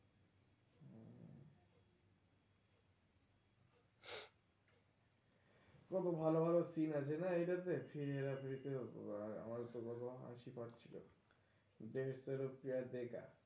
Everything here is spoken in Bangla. কত ভালো ভালো seen আছে না এইটাতে ফির হেরফেরীত